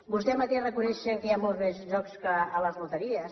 vostè mateixos reconeixen que hi ha molts més jocs que a les loteries